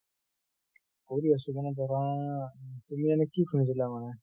কৰি আছো। কিন্তু , তুমি এনে কি শুনিছিলা মানে?